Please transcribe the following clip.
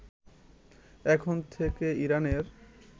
এখন থেকে ইরানের